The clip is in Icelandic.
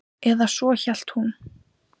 Eða svo hélt hún.